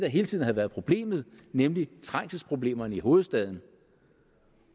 hele tiden havde været problemet nemlig trængselsproblemerne i hovedstaden